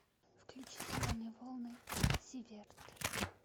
включи зеленые волны зиверт